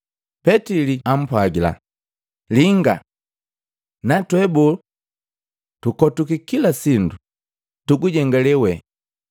Petili ampwagila, “Linga! Natwe bo? Tukotwiki kila sindu, tugujengale we!”